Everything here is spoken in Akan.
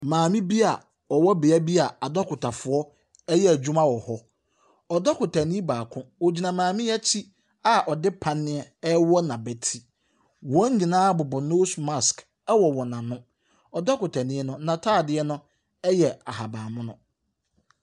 Maame bi a ɔwɔ beaeɛ bi a adɔkotafoɔ ɛreyɛ adwuma wɔ hɔ, cdokotani baako, ogyina maame yi a akyi a ɔde panea ɛrewɔ n’abatiri. Wɔn nyinaa bobɔ nose mask wɔ wɔn ano. Ɔdɔkotani no, n’ataadeɛ yɛ ahabanmono.